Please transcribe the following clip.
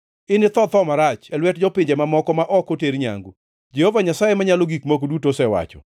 Initho tho marach e lwet jopinje mamoko ma ok oter nyangu. Jehova Nyasaye Manyalo Gik Moko Duto osewacho.’ ”